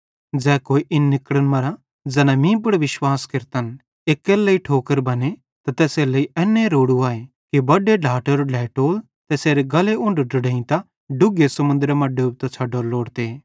ज़ै कोई इन निकड़न मरां ज़ैना मीं पुड़ विश्वास केरतन एक्केरे लेइ ठोकर बने त तैसेरेलेइ एन्ने रोड़ू आए कि बडे ढ्लाटेरो ढ्लेइटोल तैसेरे गल्ले उन्ढो ढंढेइतां डुघे समुन्द्रे मां डोबतां छ़डोरो लोड़ते